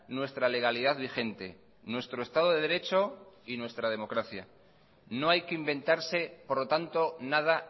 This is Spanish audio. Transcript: nuestra legalidad vigente nuestro estado de derecho y nuestra democracia no hay que inventarse por lo tanto nada